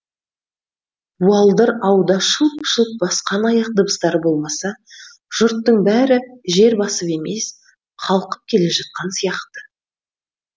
буалдыр ауда шылп шылп басқан аяқ дыбыстары болмаса жұрттың бәрі жер басып емес қалқып келе жатқан сияқты